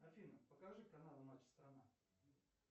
афина покажи канал матч страна